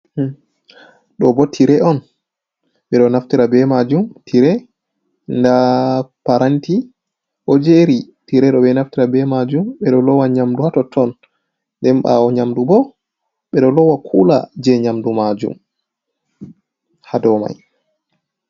Do bo tire on bedo naftara be majum tire da paranti ojeri, tiredo be naftara be majum bedo lowa nyamdu hato ton den bawo nyamdu bo bedo lowa kula je nyamdu majum hadomai .